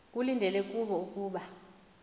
kulindeleke kubo ukuba